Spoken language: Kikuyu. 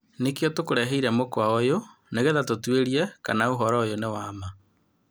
Nĩkio tũkureheire mũkwa ũyũ nĩgetha tũtuĩrie kana ũhoro ũyũ nĩ wa maa.